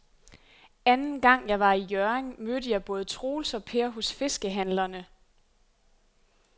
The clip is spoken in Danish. Anden gang jeg var i Hjørring, mødte jeg både Troels og Per hos fiskehandlerne.